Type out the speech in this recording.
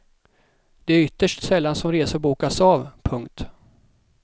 Det är ytterst sällan som resor bokas av. punkt